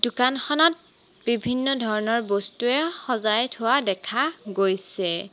দোকানখনত বিভিন্ন ধৰণৰ বস্তুৱে সজাই থোৱা দেখা গৈছে।